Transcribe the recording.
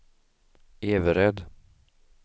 Everöd